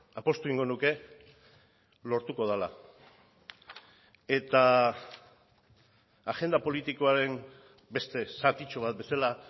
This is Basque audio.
apustu egingo nuke lortuko dela eta agenda politikoaren beste zatitxo bat bezala